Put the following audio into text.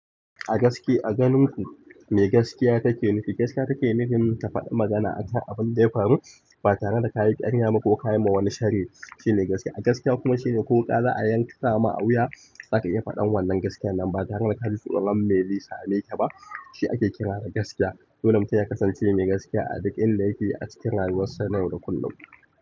A gaske a ganin ku mai gaskiya take nufi? Gaskiya take nufin ta faɗi magana akan abun da ya faru ba tare da ka yi ƙarya ba ko ka yi ma wani sharri shi ne gaskiya. A gaskiya kuma shine ko wuƙa ko za a yanka ma a wuya, za ka iya faɗan wannan gaskiyan nan ba tare da ka ji tsoron me zai sa me ka ba shi ake kira da gaskiya. Dole mutum ya kasance mai gaskiya a duk inda yake a cikin rayuwar sa na yau da kullum.